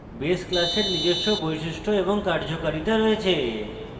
base class নিজস্ব বৈশিষ্ট্য এবং কার্যকারিতা রয়েছে